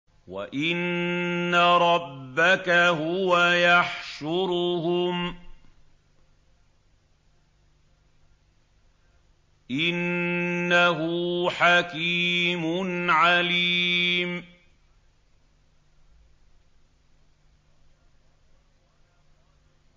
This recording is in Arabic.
وَإِنَّ رَبَّكَ هُوَ يَحْشُرُهُمْ ۚ إِنَّهُ حَكِيمٌ عَلِيمٌ